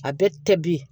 A bɛ tɛ bi